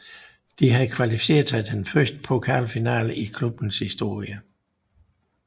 De havde kvalificeret sig til den første pokalfinale i klubbens historie